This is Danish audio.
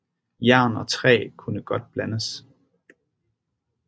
Jern og træ kunne godt blandes